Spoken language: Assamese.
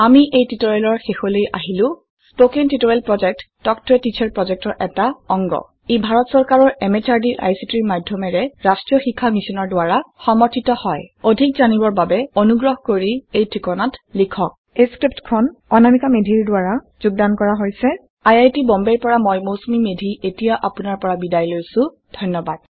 আমি এই টিউটৰিয়েলৰ শেষলৈ আহিলো। স্পকেন টুটৰিয়ল প্ৰজেক্টটো টক এ টিছাৰ প্ৰজেক্টৰ এটা ডাগ। ই ভাৰত চৰকাৰৰ MHRDৰ ICTৰ মাধয়মেৰে ৰাস্ত্ৰীয় শিক্ষা মিছনৰ দ্ৱাৰা সমৰ্থিত হয় অধিক জানিৰে বাবে অনুগ্ৰহ কৰি এই ঠিকনাত লিখক এই স্ক্ৰিপ্টখন অনামিকা মেধিৰ দ্বাৰা যোগদান কৰা হৈছে। আই আই টী বম্বে ৰ পৰা মই মৌচুমী মেধী এতিয়া আপোনাৰ পৰা বিদায় লৈছো ধন্যবাদ